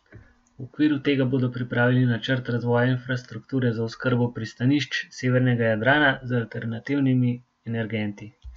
V okviru tega bodo pripravili načrt razvoja infrastrukture za oskrbo pristanišč severnega Jadrana z alternativnimi energenti.